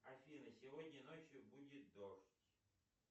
афина сегодня ночью будет дождь